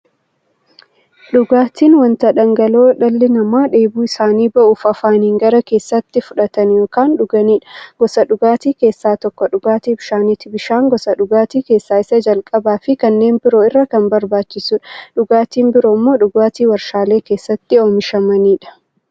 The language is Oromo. Dhugaatiin wanta dhangala'oo dhalli namaa dheebuu isaanii ba'uuf, afaaniin gara keessaatti fudhatan yookiin dhuganiidha. Gosoota dhugaatii keessaa tokko dhugaatii bishaaniti. Bishaan gosa dhugaatii keessaa isa jalqabaafi kanneen biroo irra kan barbaachisuudha. Dhugaatiin biroo immoo dhugaatii waarshalee keessatti oomishamaniidha.